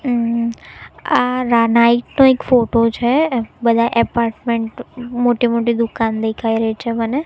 અ આ રા નાઈટ નો એક ફોટો છે બધા એપાર્ટમેન્ટ મોટી મોટી દુકાન દેખાય રહી છે મને.